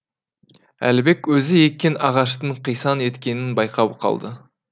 әлібек өзі еккен ағаштың қисаң еткенін байқап қалды